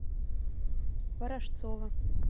ворожцова